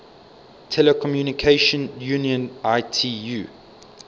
telecommunication union itu